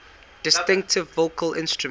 distinctive vocal instrument